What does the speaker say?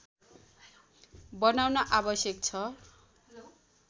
बनाउन आवश्यक छ